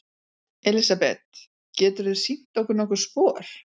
Elísabet: Geturðu sýnt okkur nokkur spor?